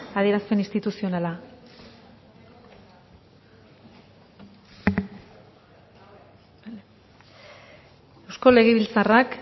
adierazpen instituzionala eusko legebiltzarrak